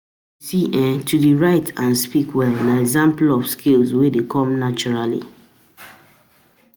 To um de write and to de speak well na example of um skill wey de come naturally